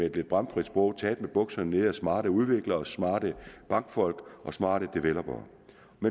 et lidt bramfrit sprog taget med bukserne nede af smarte udviklere smarte bankfolk og smarte developere